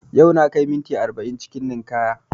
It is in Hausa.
Yau na kai minti arba'in cikin ninkaya